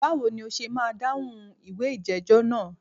Báwo ni o ṣe máa dáhùn ìwé ìjẹ́jọ́ náà?